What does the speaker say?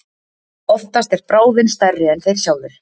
Oftast er bráðin stærri en þeir sjálfir.